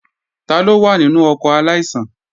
Taló wà nínú ọkọ̀ aláìsàn?